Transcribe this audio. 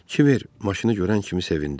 Kiver maşını görən kimi sevindi.